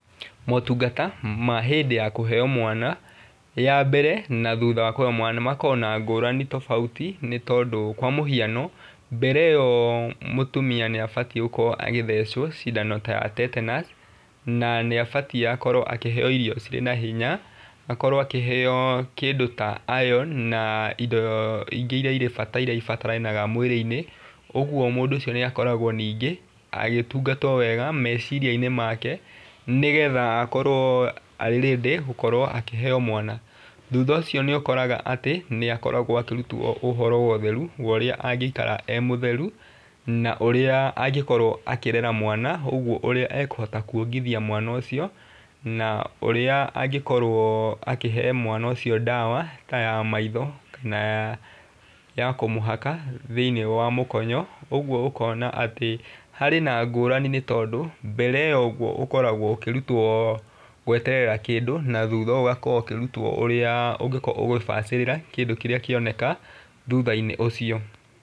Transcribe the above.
Motungata ma hĩndĩ ya kũheo mwana ya mbere na thutha wa kũheo mwana makoragwo na ngũrani tobauti nĩ tondũ kwa mũhiano mbere ĩyo mũtumia nĩ abatiĩ gũkorwo agĩthecwo cindano ta ya tetenus na nĩ abatie gũkorwo akĩheo irio ciĩna hinya akorwo akĩheo kĩndũ ta iron na indo ingĩ iria irĩ bataranaga mwĩrĩinĩ ũguo mũndũ ũcio nĩ akoragwo ningĩ agĩtungatwo wega meciria-inĩ make nĩgetha akorwo ready gũkorwo akĩheo mwana ,thũtha ũcio nĩ ũkoraga atĩ nĩ akoragwo akĩrutwo ũhoro wa ũtheru wa ũrĩa angĩikara e mũtheru na ũrĩa angĩkorwo akĩrera mwana ũguo ũria ekũhota kwongithia mwana ũcio na ũrĩa angĩkorwo akĩhe mwana ũcio ndawa ta ya maitho kana ya kũmũhaka thĩiniĩ wa mũkonyo ũguo ũkona atĩ harĩ na ngũrani nĩ tondũ mbere yo ũguo ũkoragwo ũkĩrutwo gweterera kĩndũ na thutha ũũ ũgakorwo ũkĩrutwo ũrĩa ũngĩkorwo ũgĩbacirĩra kĩndũ kĩrĩa kĩoneka thuthainĩ ũcio.